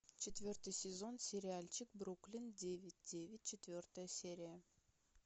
четвертый сезон сериальчик бруклин девять девять четвертая серия